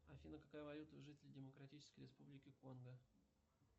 афина какая валюта у жителей демократической республики конго